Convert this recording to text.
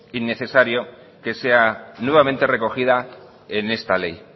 innecesario que sea nuevamente recogida en esta ley